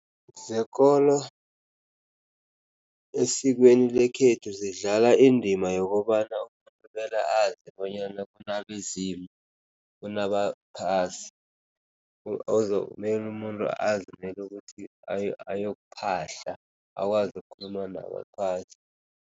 Zekolo esikweni lekhethu zidlala indima yokobana azi bonyana bona kunabezimu, kunabaphasi mele umuntu azi mele ukuthi ayokuphahla akwazi ukukhuluma nabaphasi.